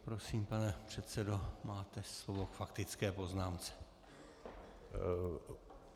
Prosím, pane předsedo, máte slovo k faktické poznámce.